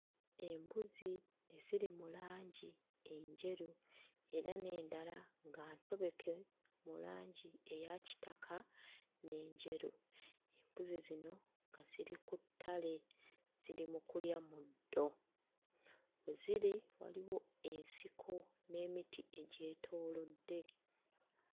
Embuzi ziri mu langi enjeru era n'endala nga ntobeke mu langi eya kitaka n'enjeru. Embuzi zino nga ziri ku ttale ziri mu kulya muddo. We ziri waliwo ensiko n'emiti egyetoolodde.